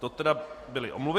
To tedy byly omluvy.